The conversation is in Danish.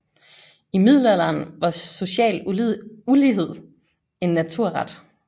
I middelalderen var social ulighed en naturret